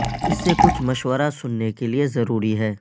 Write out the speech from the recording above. اس سے کچھ مشورہ سننے کے لئے ضروری ہے